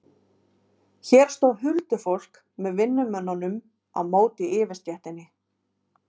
Hér stóð huldufólk með vinnumönnum á móti yfirstéttinni.